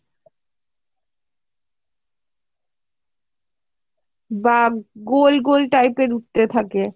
বা গোল গোল type এর উঠতে থাকে